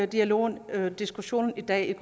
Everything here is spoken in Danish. dialogen og diskussionen i dag